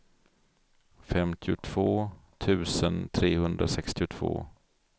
femtiotvå tusen trehundrasextiotvå